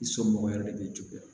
I somɔgɔ yɛrɛ de bɛ juguya